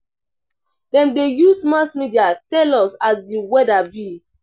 Dem dey use mass media tell us as di weather be.